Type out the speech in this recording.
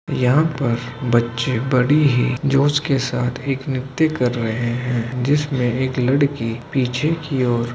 यहाँ पर बच्चे बड़ी ही जोश के साथ एक नित्य कर रहे हैं जिसमें एक लड़की पीछे की ओर --